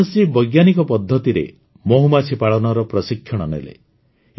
ସୁଭାଷ ଜୀ ବୈଜ୍ଞାନିକ ପଦ୍ଧତିରେ ମହୁମାଛି ପାଳନର ପ୍ରଶିକ୍ଷଣ ନେଲେ